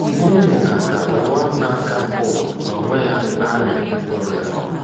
N’ihi na ka ụwa na ka ụwa n’onwe ya na-amị mkpụrụ ya,...